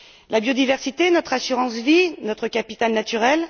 La biodiversité, c'est notre assurance vie, notre capital naturel.